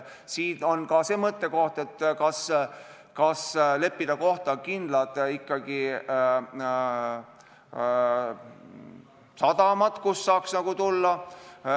Siin on mõttekoht, kas leppida kokku ikkagi kindlad sadamad, kus saaks maale tulla.